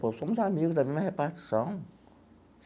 Pô, somos amigos da mesma repartição.